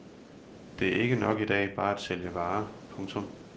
Det er ikke nok i dag bare at sælge varer. punktum